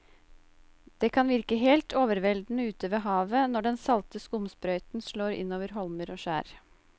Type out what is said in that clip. Det kan virke helt overveldende ute ved havet når den salte skumsprøyten slår innover holmer og skjær.